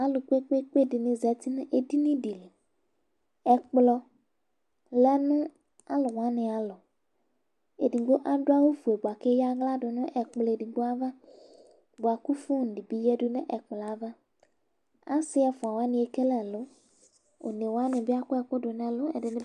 Alʋ kpekpekpe dɩnɩ zati nʋ edini dɩƐkplɔ lɛ nʋ alʋ wanɩ alɔEdigbo adʋ awʋ fue bʋa kʋ eyǝ aɣla dʋ nʋ ɛkplɔ edigbo ava ,bʋa kʋ fon dɩ bɩ yǝdu nʋ ɛkplɔ ava Asɩ ɛfʋa wanɩ ekele ɛlʋ, one wanɩ bɩ akɔ ɛkʋ dʋ nʋ ɛlʋ